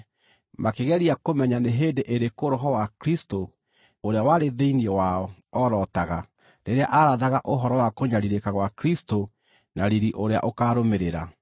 makĩgeria kũmenya nĩ hĩndĩ ĩrĩkũ Roho wa Kristũ ũrĩa warĩ thĩinĩ wao orotaga rĩrĩa aarathaga ũhoro wa kũnyariirĩka gwa Kristũ na riiri ũrĩa ũkaarũmĩrĩra.